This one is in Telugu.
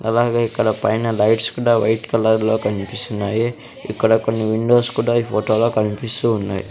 అలాగే ఇక్కడ పైన లైట్స్ కూడా వైట్ కలర్లో కన్పిస్తున్నాయి ఇక్కడ కొన్ని విండోస్ కూడా ఈ ఫోటోలో కన్పిస్తూ ఉన్నాయి.